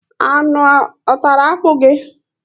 Anụ a tàrà akpu gị?